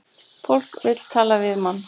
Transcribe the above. Fólk vill tala við mann